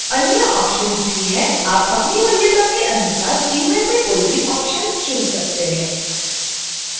अन्य ऑप्शन्स भी हैं आप अपनी वरीयता के अनुसार इनमें से कोई भी ऑप्शन्स चुन सकते हैं